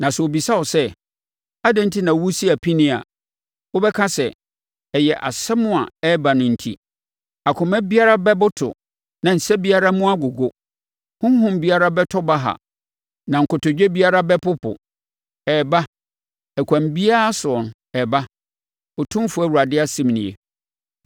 Na sɛ wɔbisa wo sɛ, ‘Adɛn enti na woresi apinie a?’ Wobɛka sɛ, ‘Ɛyɛ asɛm a ɛreba no enti. Akoma biara bɛboto na nsa biara mu agogo, honhom biara bɛtɔ baha na kotodwe biara bɛpopo.’ Ɛreba, ɛkwan biara soɔ ɛbɛba, Otumfoɔ Awurade asɛm nie.”